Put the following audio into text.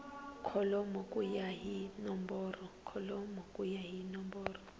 kholomo ku ya hi nomboro